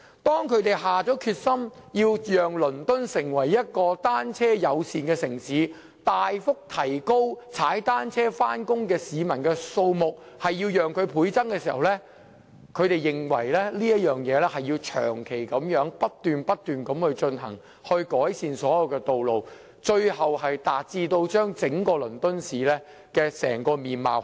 當他們下定決心，要讓倫敦成為一個單車友善的城市，要將踏單車上班的市民的數目大幅提高，且要倍增時，他們認定這項工程必須要長期不斷進行，以期改善所有道路，最終要改變整個倫敦市的面貌。